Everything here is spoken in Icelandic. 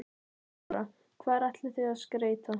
Þóra: Hvar ætlið þið að skreyta?